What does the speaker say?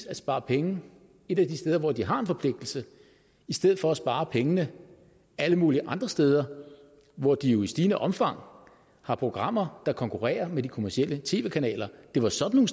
at spare penge et af de steder hvor de har en forpligtelse i stedet for at spare pengene alle mulige andre steder hvor de jo i stigende omfang har programmer der konkurrerer med de kommercielle tv kanaler det var sådan